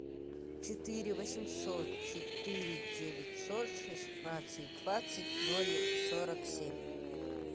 четыре восемьсот четыре девятьсот шестнадцать двадцать ноль сорок семь